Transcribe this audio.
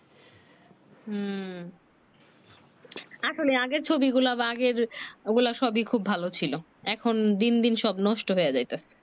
উম আসলে আগের ছবি গুলা বা আগের ঐ গুলা সবই ভালো ছিলো এখন দিন দিন সব নষ্ট হয়ে যাইতেছে